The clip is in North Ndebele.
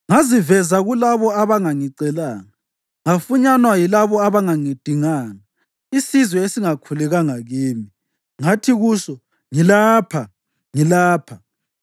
“Ngaziveza kulabo abangangicelanga; ngafunyanwa yilabo abangangidinganga. Isizwe esingakhulekanga kimi ngathi kuso, ‘Ngilapha, ngilapha.’